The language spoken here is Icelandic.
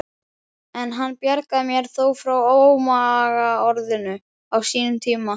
En hann bjargaði mér þó frá ómagaorðinu á sínum tíma.